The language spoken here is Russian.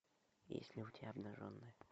есть ли у тебя обнаженные